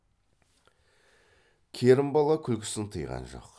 керімбала күлкісін тыйған жоқ